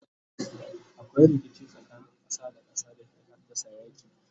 akwai rikici tsakanin ƙasa da ƙasa da ke haddasa yaki